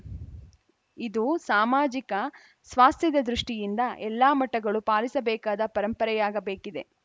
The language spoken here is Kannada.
ಇದು ಸಾಮಾಜಿಕ ಸ್ವಾಸ್ಥ್ಯದ ದೃಷ್ಟಿಯಿಂದ ಎಲ್ಲಾ ಮಠಗಳೂ ಪಾಲಿಸಬೇಕಾದ ಪರಂಪರೆಯಾಗಬೇಕಿದೆ